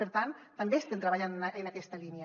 per tant també estem treballant en aquesta línia